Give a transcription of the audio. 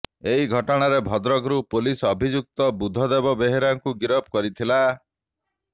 ଏହି ଘଟଣାରେ ଭଦ୍ରକରୁ ପୁଲିସ ଅଭିଯୁକ୍ତ ବୁଧଦେବ ବେହେରାଙ୍କୁ ଗିରଫ କରିଥିଲା